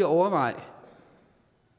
at overveje